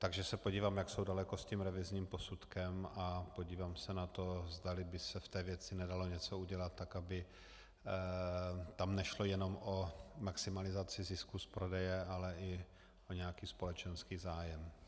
Takže se podívám, jak jsou daleko s tím revizním posudkem, a podívám se na to, zdali by se v té věci nedalo něco udělat tak, aby tam nešlo jenom o maximalizaci zisku z prodeje, ale i o nějaký společenský zájem.